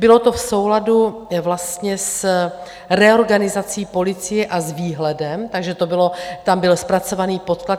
Bylo to v souladu vlastně s reorganizací policie a s výhledem, takže to bylo, tam byl zpracovaný podklad.